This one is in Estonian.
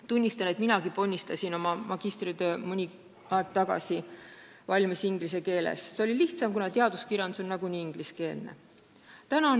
Tunnistan, et minagi ponnistasin oma magistritöö mõni aeg tagasi valmis inglise keeles – see oli lihtsam, kuna teaduskirjandus on nagunii ingliskeelne.